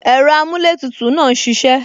Ẹ̀rọ amuletutu náà ń ṣisẹ